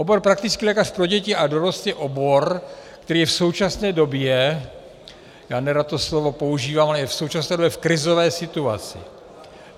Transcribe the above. Obor praktický lékař pro děti a dorost je obor, který je v současné době - já nerad toto slovo používám, ale je v současné době v krizové situaci.